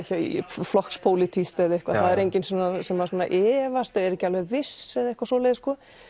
flokks pólitískt eða eitthvað það er enginn sem efast eða er ekki alveg viss eða eitthvað svoleiðis